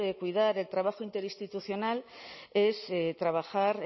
cuidar el trabajo interinstitucional es trabajar